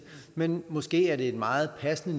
men måske er det meget passende